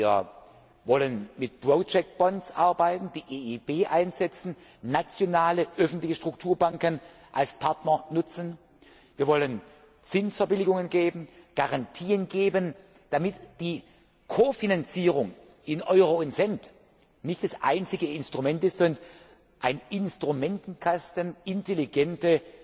Wir wollen mit Projektanleihen arbeiten, die EIB einsetzen, nationale öffentliche Strukturbanken als Partner nutzen, wir wollen Zinsverbilligungen geben, Garantien geben, damit die Ko Finanzierung in Euro und Cent nicht das einzige Instrument ist und ein Instrumentenkasten intelligente,